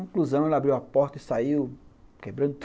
Conclusão, ela abriu a porta e saiu quebrando